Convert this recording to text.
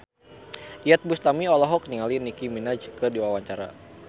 Iyeth Bustami olohok ningali Nicky Minaj keur diwawancara